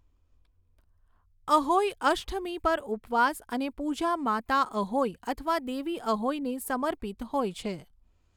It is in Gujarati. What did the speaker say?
અહોઈ અષ્ટમી પર ઉપવાસ અને પૂજા માતા અહોઈ અથવા દેવી અહોઈને સમર્પિત હોય છે.